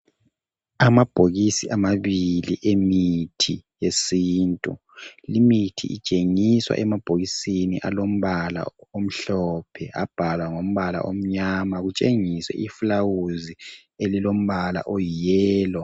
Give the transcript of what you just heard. Amabhokisi amabili emithi yesintu. Limithi itshengiswa emabhokisini alombala omhlophe. Abhalwa ngombala omnyama. Kutshengiswe ifulawuzi elilombala oyiyellow.